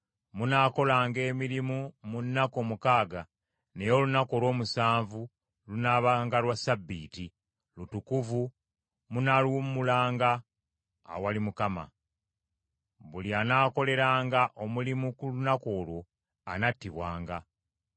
Munaakolanga emirimu mu nnaku omukaaga; naye olunaku olw’omusanvu lunaabanga Lwassabbiiti, lutukuvu, munaaluwummulanga awali Mukama . Buli anaakoleranga omulimu ku lunaku olwo anattibwanga.